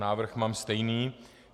Návrh mám stejný.